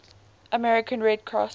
american red cross